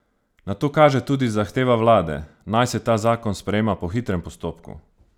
Na to kaže tudi zahteva vlade, naj se ta zakon sprejema po hitrem postopku.